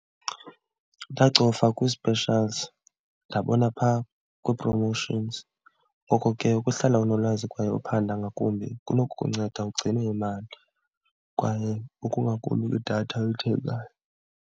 Ndacofa kwi-specials ndabona phaa kwi-promotions. Ngoko ke ukuhlala unolwazi kwaye uphanda ngakumbi kunokukunceda ugcine imali kwaye ukonga lwedatha oyithengayo.